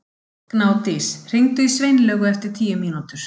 Gnádís, hringdu í Sveinlaugu eftir tíu mínútur.